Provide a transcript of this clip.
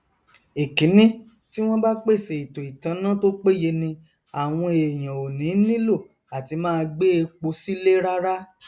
ẹkíní tí wọn bá pèsè ètò ìtanná to péye ni àwọn èèyàn ò ní nílò àti máa gbé epo sílé rárá